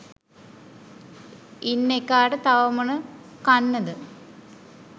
ඉන්න එකාට තව මොන කන්නද